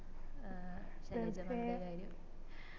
ഏർ Shailaja mam ൻറെ കാര്യം